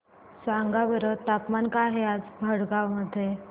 सांगा बरं तापमान काय आहे आज भडगांव मध्ये